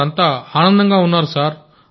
వారంతా ఆనందంగా ఉన్నారు సార్